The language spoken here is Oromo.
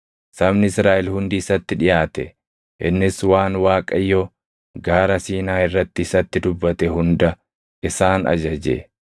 Sabni Israaʼel hundi isatti dhiʼaate; innis waan Waaqayyo Gaara Siinaa irratti isatti dubbate hunda isaan ajaje.